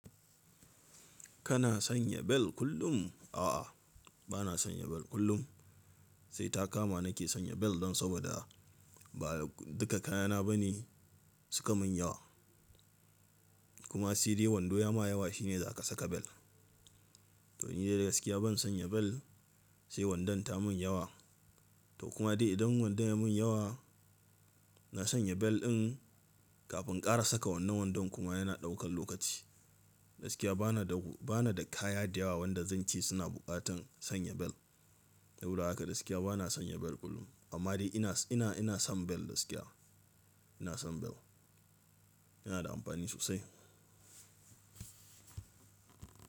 Kana sanya bel kullum? A'a, bana sanya bel kullum. Sai ta kama nake sanya bel don saboda ba duka kayana ba ne suka mun yawa. Kuma sedai wando ya ma yawa shine za ka saka bel. To ni dai gaskiya ban sanya bel sai wandon ta mun yawa. To kuma dai idan wandon ya mun yawa, na sanya bel in kafin ƙara saka wannan wandon kuma yana ɗaukan lokaci. Gaskiya bana da, bana da kaya da yawa wanda zan ce suna buƙatan sanya bel. Saboda haka gaskiya bana sanya bel kullum. Amma dai ina, ina, ina son bel gaskiya. Ina son bel. Yana da amfani sosai.